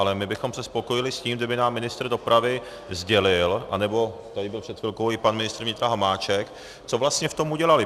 Ale my bychom se spokojili s tím, kdyby nám ministr dopravy sdělil, anebo tady byl před chvilkou i pan ministr vnitra Hamáček, co vlastně v tom udělali.